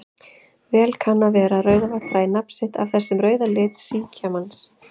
Vel kann að vera að Rauðavatn dragi nafn sitt af þessum rauða lit síkjamarans.